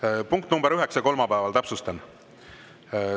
Täpsustan: punkt nr 9 kolmapäeval?